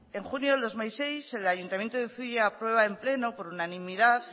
en junio de dos mil seis el ayuntamiento de zuia aprueba en pleno por unanimidad